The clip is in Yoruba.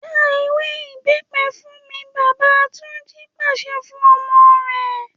‘Já ewé ìbé̩pe̩ fún mi!’, bàbá Túnjí pàs̩e̩ fún o̩mo̩ re